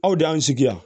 Aw de y'an sigi yan